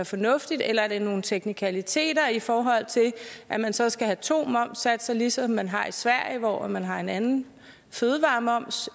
fornuftigt eller er det nogle teknikaliteter i forhold til at man så skal have to momssatser ligesom man har i sverige hvor man har en anden fødevaremoms